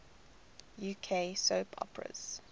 uk soap operas